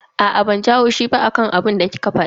Aa, banji haushi ba akan abinda kika fada.